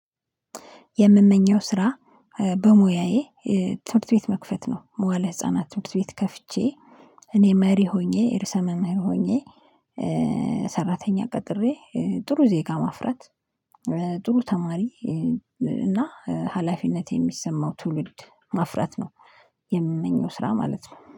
የምመኘው ስራ በሙያዬ ትምህርት ቤት መክፈት ነው መዋእለ ህፃናት ትምህርት ቤት ከፍቼ እኔ መሪ ሆኜ ርዕሰ መምህር ሆኜ ሰራተኛ ቀጥሬ ጥሩ ዜጋ ማፍራት ጥሩ ተማሪ እና ሀላፊነት የሚሰማው ትውልድ ማፍራት ነው። የምመኘው ስራ ማለት ነው